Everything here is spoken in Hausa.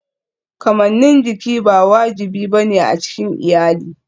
Kamannin jiki ba wajibi ba ne a cikin iyali.